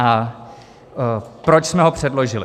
A proč jsme ho předložili?